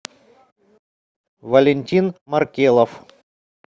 валентин маркелов